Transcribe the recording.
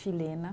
Chilena.